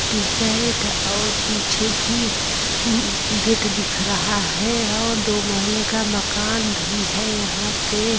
T-shirt और पीछे भी म्म गेट दिख रहा है और दो महलें का मकान भी है यहाँ पे।